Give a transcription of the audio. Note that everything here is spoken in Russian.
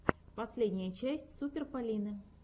последняя часть супер полины